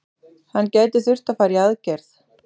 Hann gæti þurft að fara í aðgerð.